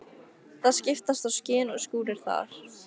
Það skiptast á skin og skúrir þar.